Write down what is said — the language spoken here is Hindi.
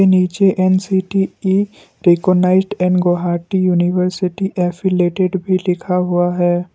के नीचे NCTE recognised and Guwahati university affiliated भी लिखा हुआ है।